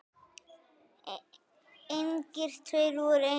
Engir tveir voru eins.